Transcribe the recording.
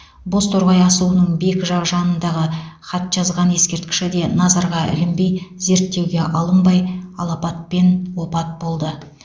бозторғай асуының бекі жақ жанындағы хатжазған ескерткіші де назарға ілінбей зерттеуге алынбай алапатпен опат болды